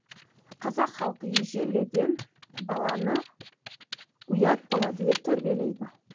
қазақ халқы ежеледен баланы ұят болады деп тәрбиелейді